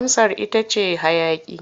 Amsar ita ce hayaƙi.